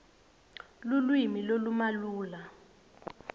lulwimi lolumalula